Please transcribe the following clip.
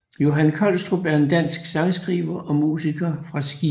Johan Kolstrup er en dansk sangskriver og musiker fra Skive